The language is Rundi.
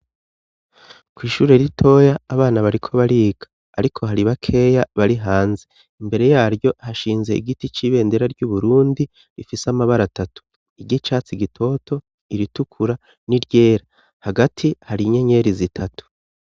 Kw'ishure ritoya abana bariko bariga ariko hari bakeya bari hanze. Imbere yaryo hashinze igiti c'ibendera ry'uburundi rifise amabara atatu iry'icatsi gitoto, iritukura n'iryera. Hagati hari inyenyeri zitatu.